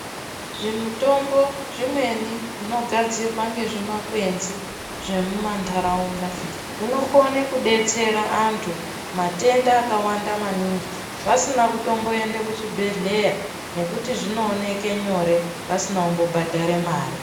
Zvimutombo zvimweni zvinogadzirwa ngezvimakwenzi zvemumandaraunda hunokona kudetsera andu matenda akawanda maningi vasina kutomboenda kuchibhehlera nekuti zvinooneka nyore vasina kumbobhadhara mare.